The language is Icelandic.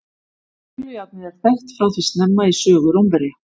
Krullujárnið er þekkt frá því snemma í sögu Rómverja.